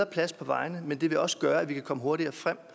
plads på vejene men det vil også gøre at vi kan komme hurtigere frem